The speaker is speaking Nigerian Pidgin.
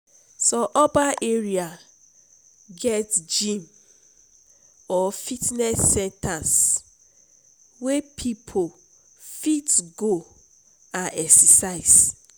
some urban area get gym or fitness centers wey people fit go and exercise.